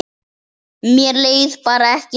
Mér leið bara ekki þannig.